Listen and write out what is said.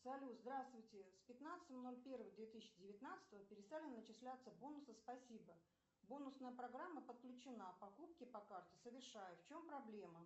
салют здравствуйте с пятнадцатого ноль первого две тысячи девятнадцатого перестали начисляться бонусы спасибо бонусная программа подключена покупки по карте совершаю в чем проблема